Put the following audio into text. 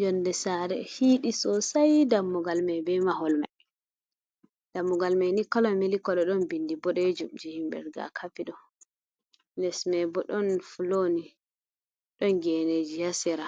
Yolnde sare hinɗi sosai, dammugal mai be mahol mai dammugal mai ni kola mili kolo ɗon binndi bodejumji himɓe riga kafi ɗo, les mai bo ɗon floni ɗon geneji hasira